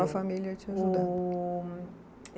A sua família te